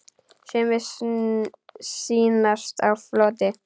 Sumir sýnast á floti.